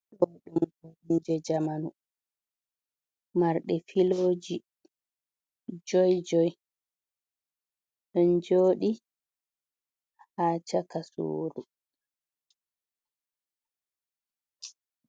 Ɗo ɗum koromje jamanu marɗe filoji joi-joi. Ɗon jooɗi ha shaka suɗu.